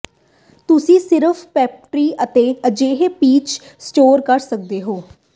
ਤੁਸੀਂ ਸਿਰਫ਼ ਪੈਂਟਰੀ ਵਿਚ ਅਜਿਹੇ ਪੀਚ ਸਟੋਰ ਕਰ ਸਕਦੇ ਹੋ